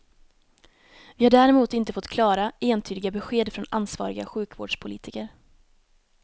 Vi har däremot inte fått klara, entydiga besked från ansvariga sjukvårdspolitiker.